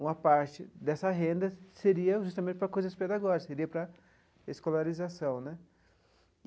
Uma parte dessa renda seria justamente para coisas pedagógicas, seria para a escolarização né.